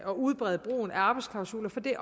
at udbrede brugen af arbejdsklausuler for det